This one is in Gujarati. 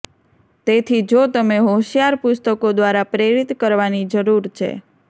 તેથી જો તમે હોંશિયાર પુસ્તકો દ્વારા પ્રેરિત કરવાની જરૂર છે